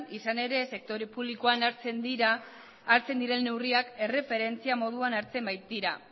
izan ere sektore publikoan hartzen diren neurriak erreferentzi moduan hartzen baitira